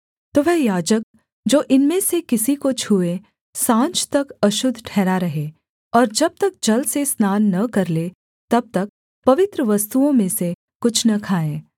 तो वह याजक जो इनमें से किसी को छूए साँझ तक अशुद्ध ठहरा रहे और जब तक जल से स्नान न कर ले तब तक पवित्र वस्तुओं में से कुछ न खाए